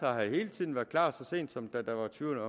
har hele tiden været klar så sent som da der var tvivl